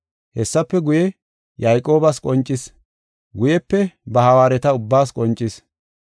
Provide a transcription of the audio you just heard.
Hessafe guye, Yayqoobas qoncis; guyepe ba hawaareta ubbaas qoncis.